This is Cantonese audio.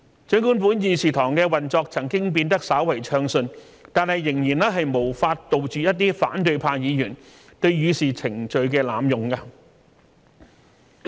儘管本議事堂的運作曾經變得稍為暢順，但仍然無法杜絕一些反對派議員對議事程序的濫用。